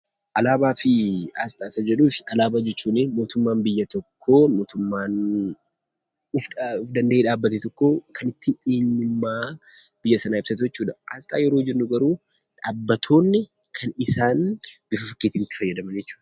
Alaabaa fi aasxaa isa jedhuuf alaabaa jechuuni mootummaan biyya tokkoo mootummaan of danda'ee dhaabbate tokkoo kan ittiin eenyummaa biyya sanaa ibsatu jechuudha. Aasxaa yeroo jennu garuu dhaabbatoonni kan isaan bifa fakkiitiin itti fayyadaman jechuudha.